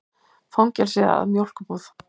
Fangelsið að mjólkurbúð.